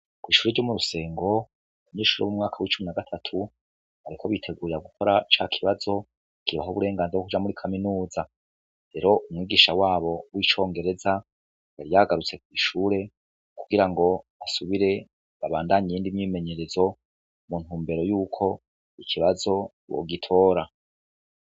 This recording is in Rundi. Kwishure ryomurusengo abanyeshure bomumwaka wicumi nagatatu bariko bitegurira gukora cakibazo kibaha uburenganzira bwokuja muri kaminuza rero umwigisha wabo wicongereza yariyagarutse kwishure kugira ngobasubire babandanye iyindi myimenyerezo muntumbero yuko ikibazo bogitora